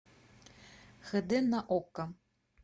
хд на окко